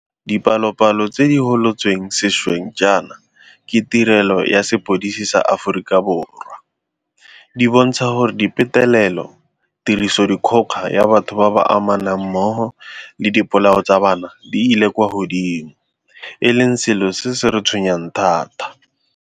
Dipalopalo tse di gololotsweng sešweng jaana ke Tirelo ya Sepodisi sa Aforika Borwa, SAPS, di bontsha gore dipetelelo, tirisodikgoka ya batho ba ba amanang mmogo le dipolao tsa bana di ile kwa godimo, e leng selo se se re tshwenyang thata.